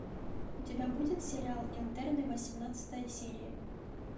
у тебя будет сериал интерны восемнадцатая серия